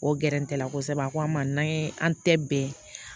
O gɛrɛtɛ la kosɛbɛ a ko an ma n'an ye an tɛ bɛn